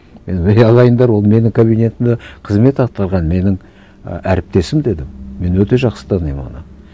мен өй ағайындар ол менің кабинетімде қызмет атқарған менің і әріптесім дедім мен өте жақсы танимын оны